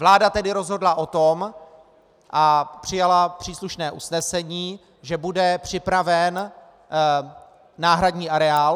Vláda tedy rozhodla o tom a přijala příslušné usnesení, že bude připraven náhradní areál.